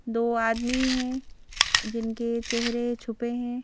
दो आदमी हैं जिनके चेहरे छुपे हैं।